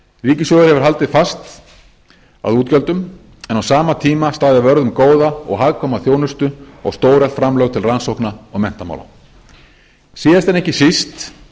ríkissjóður hefur haldið fast að útgjöldum en á sama tíma staðið vörð um góða og hagkvæma þjónustu og stóreflt framlög til rannsókna og menntamála síðast en ekki síst